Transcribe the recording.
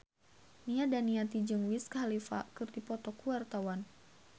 Nia Daniati jeung Wiz Khalifa keur dipoto ku wartawan